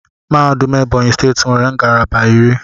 Mahadum Ebonyi steeti nwere ngalaba iri.